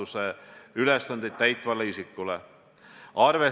See ainult suurendab hirmu, et valitsus midagi varjab.